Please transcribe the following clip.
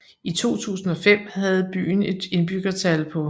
I 2005 havde byen et indbyggertal på